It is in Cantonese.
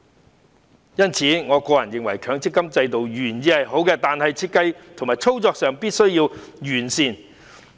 我認為，雖然強積金制度的原意是好的，但設計和操作上必須加以完善。